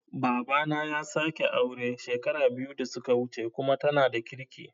Babana ya sake aure shekara biyu da suka wuce kuma tana da kirki